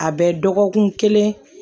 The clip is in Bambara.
A bɛ dɔgɔkun kelen